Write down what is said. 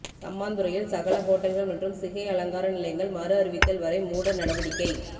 சம்மாந்துறையில் சகல ஹோட்டல்கள் மற்றும் சிகை அலங்கார நிலையங்கள் மறு அறிவித்தல் வரை மூட நடவடிக்கை